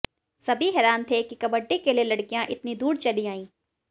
सभी हैरान थे कि कबड्डी के लिए लड़कियां इतनी दूर चली आईं